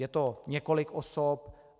Je to několik osob.